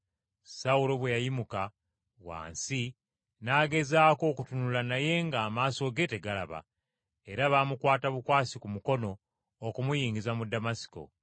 Sawulo bwe yayimuka wansi n’agezaako okutunula naye ng’amaaso ge tegalaba. Era baamukwata bukwasi ku mukono okumuyingiza mu Damasiko.